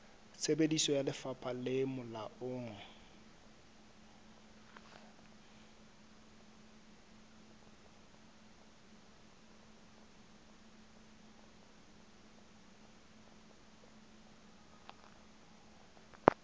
tsebiso ya lefapha le molaong